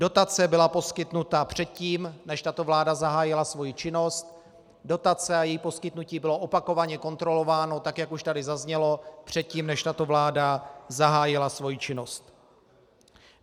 Dotace byla poskytnuta předtím, než tato vláda zahájila svoji činnost, dotace a její poskytnutí bylo opakovaně kontrolováno, tak jak už tady zaznělo, předtím, než tato vláda zahájila svoji činnost.